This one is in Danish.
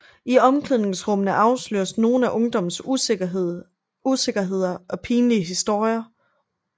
I omklæningsrummet afsløres nogle af ungdommens usikkerheder og pinlige historier